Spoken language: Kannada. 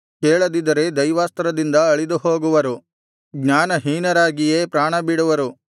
ಕೇಳದಿದ್ದರೆ ದೈವಾಸ್ತ್ರದಿಂದ ಅಳಿದುಹೋಗುವರು ಜ್ಞಾನಹೀನರಾಗಿಯೇ ಪ್ರಾಣಬಿಡುವರು